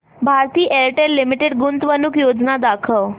Bharti Airtel limited गुंतवणूक योजना दाखव